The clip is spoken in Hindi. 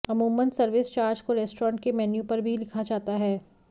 अमूमन सर्विस चार्ज को रेस्टोरेंट के मेन्यु पर भी लिखा जाता है